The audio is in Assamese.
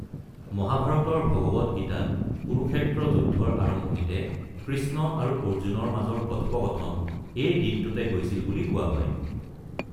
মহাভাৰত, ভগৱৎ গীতাত কুৰুক্ষেত্ৰ যুদ্ধৰ আৰম্ভণিতে কৃষ্ণ আৰু অৰ্জুনৰ মাজৰ কথোপকথন এই দিনটোতে হৈছিল বুলি কোৱা হয়।